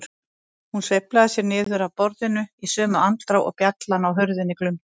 Hún sveiflaði sér niður af borðinu í sömu andrá og bjallan á hurðinni glumdi.